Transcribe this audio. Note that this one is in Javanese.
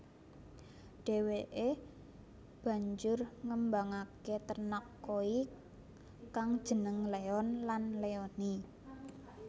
Déwéké banjur ngembangaké ternak koi kang jeneng Leon lan Leonny